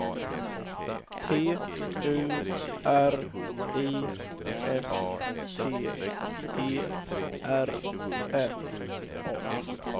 T U R I S T E R N A